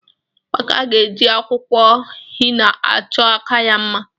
Amaka ga-eji akwụkwọ hina achọ aka ya mma.